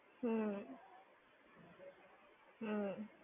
હમ્મ. હમ્મ.